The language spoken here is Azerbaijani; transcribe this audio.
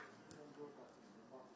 Məsəl üçün, Azərbaycanlı oyunçu.